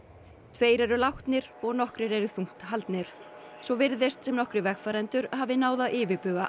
tveir eru látnir og nokkrir þungt haldnir svo virðist sem nokkrir vegfarendur hafi náð að yfirbuga